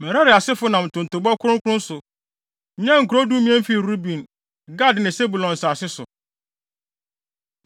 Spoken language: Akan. Merari asefo nam ntontobɔ kronkron so, nyaa nkurow dumien fii Ruben, Gad ne Sebulon nsase so.